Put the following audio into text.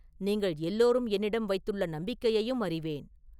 நீங்கள் எல்லோரும் என்னிடம் வைத்துள்ள நம்பிக்கையையும் அறிவேன்.